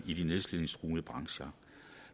i de nedslidningstruede brancher